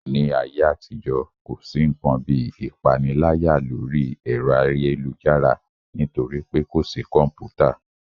Ní ayé àtijọ́, kò sí ǹkan bíi ìpániláyà lórí ẹ̀rọ ayélujára nítorí pé kò sí kọ̀mpútà